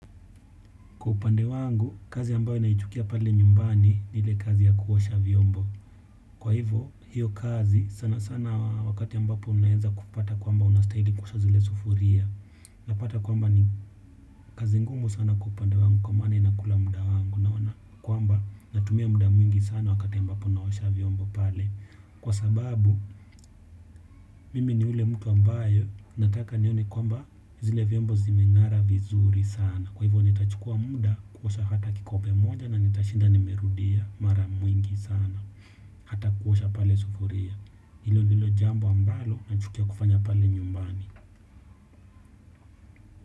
Kwa upande wangu, kazi ambayo naichukia pale nyumbani ni ile kazi ya kuosha vyombo. Kwa hivyo, hiyo kazi sana sana wakati ambapo unaanza kupata kwamba unastahili kuosha zile sufuria. Unapata kwamba ni kazi ngumu sana kwa upande wangu kwa maana inakula muda wangu unaona, kwamba natumia muda mwingi sana wakati ambapo ninaosha vyombo pale. Kwa sababu, mimi ni yule mtu ambaye nataka nione kwamba zile vyombo zimeng'ara vizuri sana. Kwa hivyo nitachukua muda kuosha hata kikombe moja na nitashinda nimerudia mara mwingi sana. Hata kuosha pale sufuria. Hilo ndilo jambo ambalo nachukia kufanya pale nyumbani.